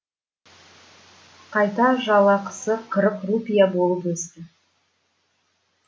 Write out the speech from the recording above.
қайта жалақысы қырық рупия болып өсті